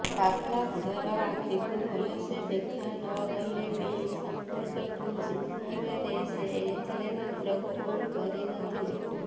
ପାଗଳା ବୁଢାର ଆଖିକୁ ଭଲ ସେ ଦେଖାନଗଲେ ବି ସଂପର୍କକୁ ଚିହ୍ନିବାରେ ସେ ତିଳେମାତ୍ର ଭୁଲ୍ କରିନଥିଲେ